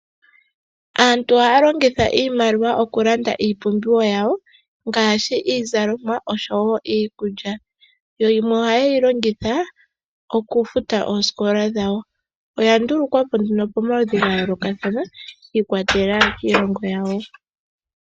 Aantu ohaya longitha iimaliwa okulanda iipumbiwa yawo ngaashi iizalomwa noshowo iikulya. Yo yimwe ohaye yi longitha okufuta oosikola dhawo. Oya ndulukwa po nduno pomaludhi ga yoolokathana shi ikwatelela kiilongo yawo.